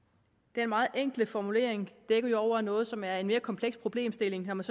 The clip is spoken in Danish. den meget enkle formulering dækker jo over noget som er en mere kompleks problemstilling når man